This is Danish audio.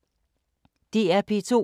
DR P2